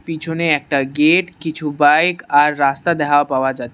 পিছনে একটা গেট কিছু বাইক আর রাস্তা দেহা পাওয়া যাচ্ছে।